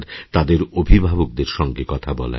তাদের অভিভাবকদেরসঙ্গে কথা বলার